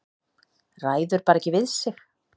Ræður bara ekki við sig.